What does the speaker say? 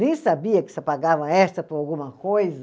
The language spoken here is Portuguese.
sabia que pagava extra por alguma coisa.